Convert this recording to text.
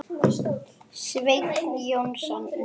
Sveinn Jónsson Nei.